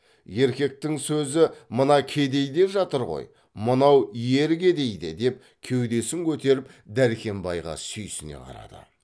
еркектің сөзі мына кедей деп жатыр ғой мынау ер кедейде деп кеудесін көтеріп дәркембайға сүйсіне қарады